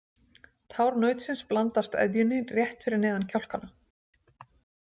Tár nautsins blandast eðjunni rétt neðan við kjálkana.